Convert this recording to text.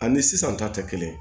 Ani sisan ta tɛ kelen